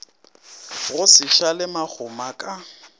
go se šale makgoma ka